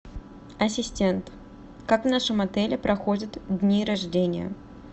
ассистент как в нашем отеле проходят дни рождения